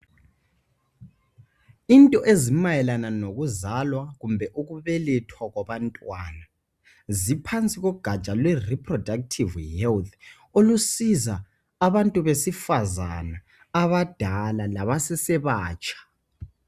Into ezimayelana nokuzalwa kumbe ukubelethwa kwabantwana ziphansi kogatsha lwe Reproductive Health, olusiza abantu besifazana abadala labasesebatsha